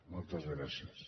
moltes gràcies